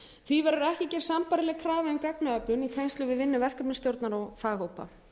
því verður ekki gerð sambærileg krafa um gagnaöflun í tengslum við vinnu verkefnisstjórnar og faghópa